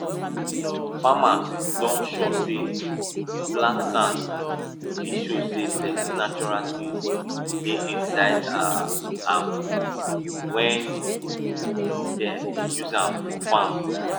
farmers don sure say black sand dey show say plenty natural tins dey inside um am wen dem dey use am farm